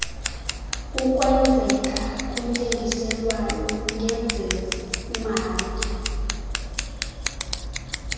ukwenzeka kwentengiselwano ngezemali